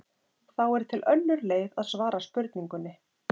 Þá er til önnur leið að svara spurningunni.